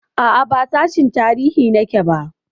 A'a, ba sashin tarihi nake ba.